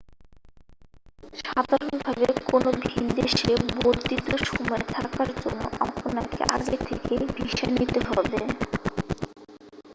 সাধারণভাবে কোন ভিনদেশে বর্ধিত সময়ে থাকার জন্য আপনাকে আগে থেকেই ভিসা নিতে হবে